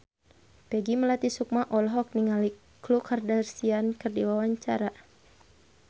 Peggy Melati Sukma olohok ningali Khloe Kardashian keur diwawancara